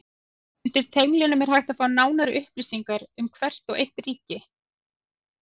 Undir tenglinum er hægt að fá nánari upplýsingar um hvert og eitt ríki.